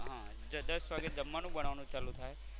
હા દસ વાગે જમવાનું બનાવાનું ચાલુ થાય.